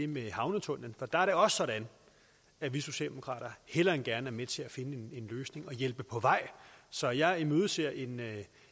med havnetunnelen for der er det også sådan at vi socialdemokrater hellere end gerne er med til at finde en løsning og hjælpe på vej så jeg imødeser en